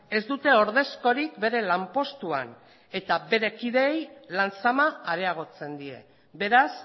ez dute ordezkorik bere lanpostuan eta bere kideei lan zama areagotzen die beraz